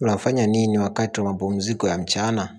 Unafanya nini wakati wa mapumziko ya mchana?